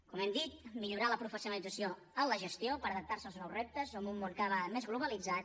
com hem dit millorar la professionalització en la gestió per adaptar se als nous reptes en un món cada vegada més globalitzat